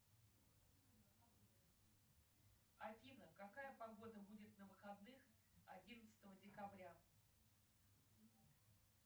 афина какая погода будет на выходных одиннадцатого декабря